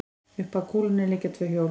Upp að kúlunni liggja tvö hjól.